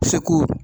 Segu